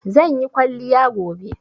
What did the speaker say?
Zan yi kwalliya gobe